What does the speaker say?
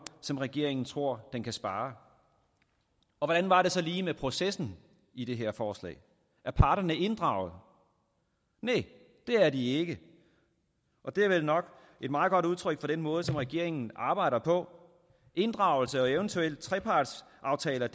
som regeringen tror den kan spare hvordan var det så lige med processen i det her forslag er parterne inddraget næh det er de ikke og det er vel nok et meget godt udtryk for den måde som regeringen arbejder på inddragelse og eventuelle trepartsaftaler